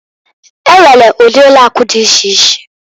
E nwere udi ụlọ akụ dị iche iche.